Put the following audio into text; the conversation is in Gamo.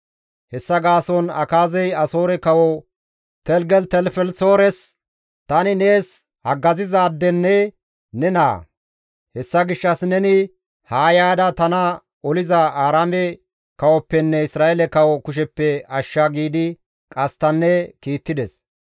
Hessa gaason Akaazey Asoore kawo Teligelitelifelisoores, «Tani nees haggazizaadenne ne naa; hessa gishshas neni haa yaada tana oliza Aaraame kawoppenne Isra7eele kawo kusheppe ashsha» giidi qasttanne kiittides.